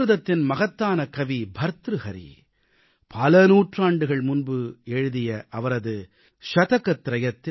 சம்ஸ்கிருதத்தின் மகத்தான கவி பர்த்ருஹரி பல நூற்றாண்டுகள் முன்பு எழுதப்பட்ட அவரது சதகத்ரயத்தில்